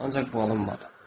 Ancaq bu alınmadı.